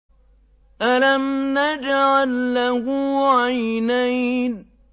أَلَمْ نَجْعَل لَّهُ عَيْنَيْنِ